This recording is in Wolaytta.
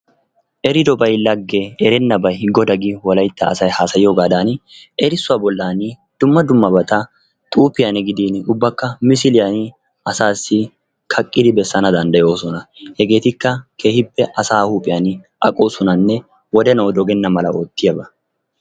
Eridobay lagge erennabay goda giyo wolaytta asay haasayiyoogaadaan erissuwa bollaani dumma dummabata xuufiyan gidin ubbakka misiliyani asaasi kaqidi bessana danndayoosona. Hegeetikka keehippe asaa huuphiyan aqoosonanne wodenawu dogenna mala oottiyaaba.